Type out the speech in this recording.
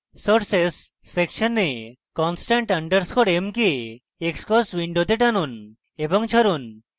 sources সেকশনে constant underscore m block xcos window টানুন এবং ছাড়ুন